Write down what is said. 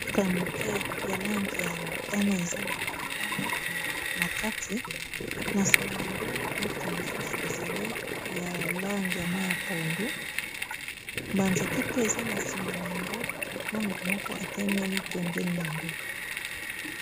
motuka ya moke ya langi ya motane eza na balabala na kati na sima na yango motuka mosusu ezali yalangi ya mai ya pondu banzete pe eza na sima na yango na motu moko atemeli pembeni yango